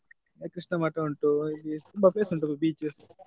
ಕೃಷ್ಣ ಮಠ ಉಂಟು ತುಂಬ place ಉಂಟು beach .